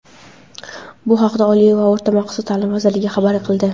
Bu haqda Oliy va o‘rta maxsus ta’lim vazirligi xabar qildi.